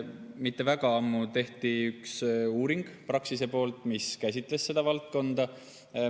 Mitte väga ammu tegi Praxis ühe uuringu, mis käsitles seda valdkonda.